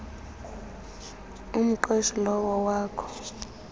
umqeshi lowo wakho